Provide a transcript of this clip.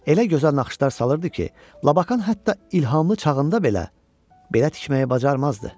Elə gözəl naxışlar salırdı ki, Labakan hətta ilhamlı çağında belə belə tikməyi bacarmazdı.